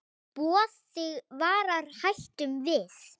Boð þig varar hættum við.